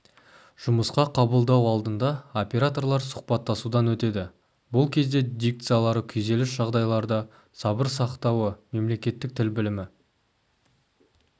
жұмысқа қабылдау алдында операторлар сұхбаттасудан өтеді бұл кезде дикциялары күйзеліс жағдайларда сабыр сақтауы мемлекеттік тіл білімі